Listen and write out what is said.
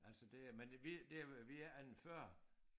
Altså det øh men vi det vi er en 40